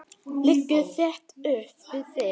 Liggur þétt upp við þig.